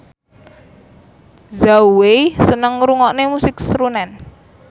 Zhao Wei seneng ngrungokne musik srunen